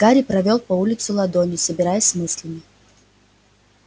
гарри провёл по улице ладонью собираясь с мыслями